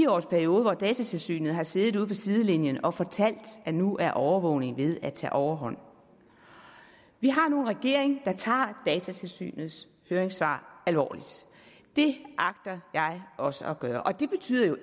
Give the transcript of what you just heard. års periode hvor datatilsynet har siddet ude på sidelinjen og fortalt at nu er overvågning ved at tage overhånd vi har nu en regering der tager datatilsynets høringssvar alvorligt det agter jeg også at gøre og det betyder jo